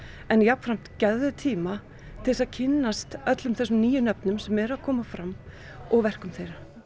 en jafnframt gefðu tíma til að kynnast öllum þessum nýju nöfnum sem eru að koma fram og verkum þeirra